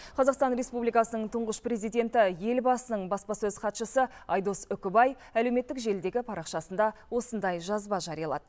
қазақстан республикасының тұңғыш президенті елбасының баспасөз хатшысы айдос үкібай әлеуметтік желідегі парақшасында осындай жазба жариялады